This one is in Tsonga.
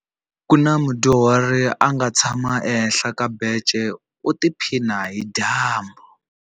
Ku na mudyuhari a nga tshama ehenhla ka bence u tiphina hi dyambu.